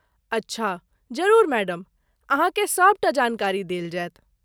अच्छा, जरुर मैडम, अहाँके सभ टा जानकारी देल जाएत।